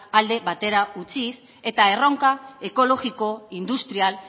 alde batera utziz eta erronka ekologiko industrial